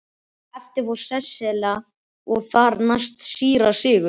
Á eftir fór Sesselja og þar næst síra Sigurður.